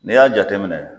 N'i y'a jateminɛ